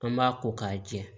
An b'a ko k'a jɛ